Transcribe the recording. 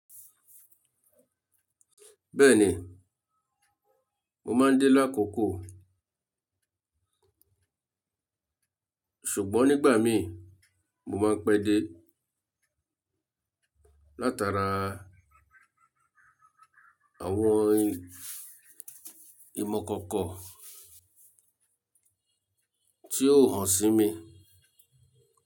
Bẹ́ẹ̀ni, mo máa ń dé lákókò, ṣùgbọ́n nígbà mí mo máa ń pẹ́ dé látara àwọn ìmọ̀ kankan tí ó hàn sí mi.